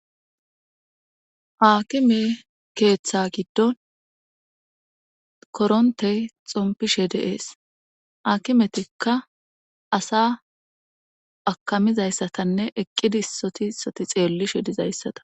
haakime keeththa giddon korontey xompishe deees hakimetikka asa akamizayssatanne eqqidi soti soti xeelli she dizayssata